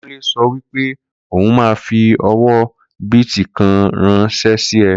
Kunle sọ wípé ó hun má fi owó bìtì kan ránsẹ́ sí ẹ